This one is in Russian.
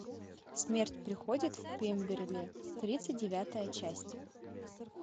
смерть приходит в пемберли тридцать девятая часть